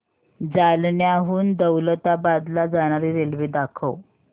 जालन्याहून दौलताबाद ला जाणारी रेल्वे दाखव